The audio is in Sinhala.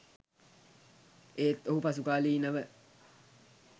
එහෙත් ඔහු පසුකාලීන ව